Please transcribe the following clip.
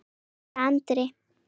hugsaði Andri.